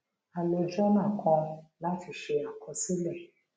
a lo jọnà kan náà láti ṣe àkọsílẹ